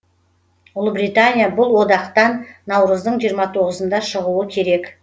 ұлыбритания бұл одақтан наурыздың жиырма тоғызында шығуы керек